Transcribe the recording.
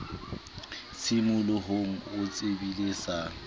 tshimolohong o tsebile e sa